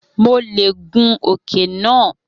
Mo leè gùn òkè náà